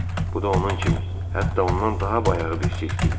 Bu da onun kimi, hətta ondan daha bayağı bir sirk idi.